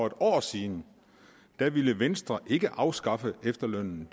et år siden ville venstre ikke afskaffe efterlønnen